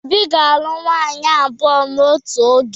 Obi ga-alụ nwaanyị abụọ n'otu oge.